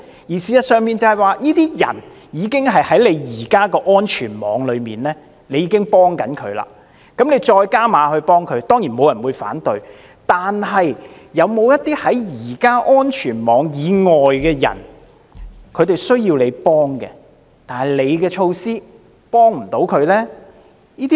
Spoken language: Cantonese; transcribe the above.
事實上，這些人已經在目前的安全網中，接受援助，政府想再加碼幫他們，當然沒有人會反對，但是否有些目前在安全網以外的人，更需要政府的幫助，但措施卻幫不了他們呢？